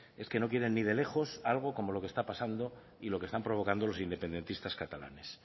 es que no quieren ni de lejos algo como lo que está pasando y lo que están provocando los independentistas catalanes